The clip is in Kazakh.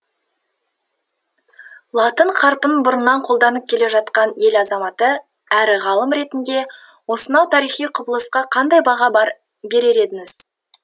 латын қарпін бұрыннан қолданып келе жатқан ел азаматы әрі ғалым ретінде осынау тарихи құбылысқа қандай баға берер едіңіз